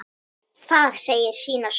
Það segir sína sögu.